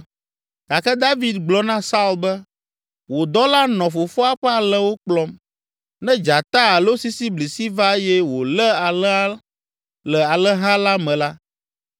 Gake David gblɔ na Saul be, “Wò dɔla nɔ fofoa ƒe alẽwo kplɔm. Ne dzata alo sisiblisi va eye wòlé alẽ le alẽha la me la,